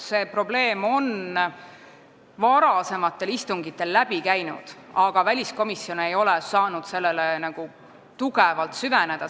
See probleem on varasematel istungitel läbi käinud, aga väliskomisjon ei ole saanud sellesse tugevalt süveneda.